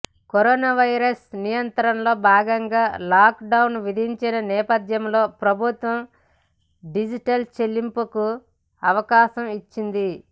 corona virus నియంత్రణలో భాగంగా lockdown విధించిన నేపథ్యంలో ప్రభుత్వం డిజిటల్ చెల్లింపులకు అవకాశం ఇచ్చింది